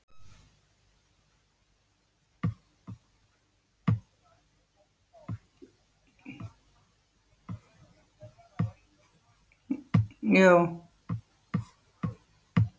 Heimildir og mynd Fagrar heyrði ég raddirnar, þjóðkvæði og stef.